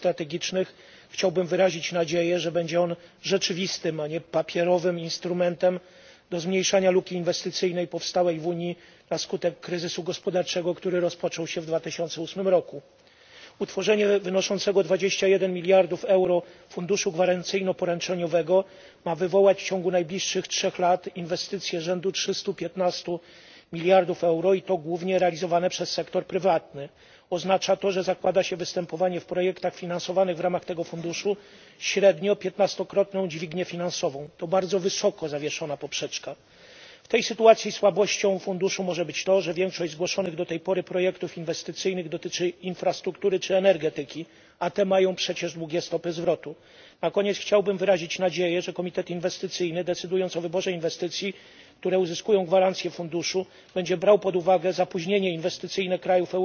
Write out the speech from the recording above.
Panie Przewodniczący, państwo komisarze! Zabierając głos w debacie dotyczącej Europejskiego Funduszu na rzecz Inwestycji Strategicznych, chciałbym wyrazić nadzieję, że będzie on rzeczywistym, a nie papierowym instrumentem do zmniejszania luki inwestycyjnej powstałej w Unii na skutek kryzysu gospodarczego, który rozpoczął się w 2008 r. Utworzenie wynoszącego 21 mld EUR funduszu gwarancyjno poręczeniowego ma wywołać w ciągu najbliższych trzech lat inwestycje rzędu 315 mld EUR i to głównie realizowane przez sektor prywatny. Oznacza to, że zakłada się występowanie w ramach projektów finansowanych z tego funduszu średnio piętnastokrotną dźwignię finansową. To bardzo wysoko zawieszona poprzeczka. W tej sytuacji słabością funduszu może być to, że większość zgłoszonych do tej pory projektów inwestycyjnych dotyczy infrastruktury czy energetyki, a te mają przecież długie stopy zwrotu. Na koniec chciałbym wyrazić nadzieję, że komitet inwestycyjny, decydując o wyborze inwestycji, które uzyskają gwarancję funduszu, będzie brał pod uwagę zapóźnienie inwestycyjne krajów